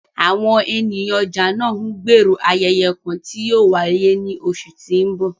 Awọn eniyan ọja naa ńgbero ayẹyẹ kan ti yóò waye ni oṣu ti n bọ